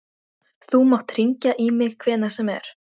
Þú mátt hringja í mig hvenær sem er.